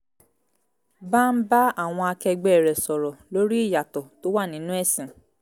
bá ń bá àwọn akẹgbẹ́ rẹ̀ sọ̀rọ̀ lórí ìyàtọ̀ tó wà nínú ẹ̀sìn